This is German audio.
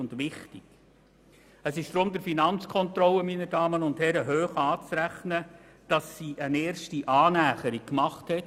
Meine Damen und Herren, es ist der Finanzkontrolle deshalb hoch anzurechnen, dass sie eine erste Annäherung vorgenommen hat.